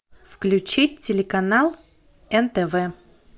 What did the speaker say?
включи телеканал нтв